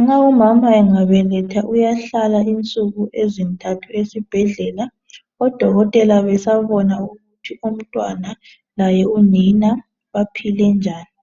nxa umama engabeletha uyahlala insuku ezintathu esibhedlela odokotela besabona ukuthi umntwana laye unina baphile njani